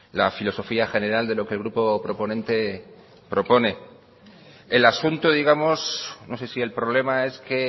la filosofía general de lo que el grupo proponente propone el asunto digamos no sé si el problema es que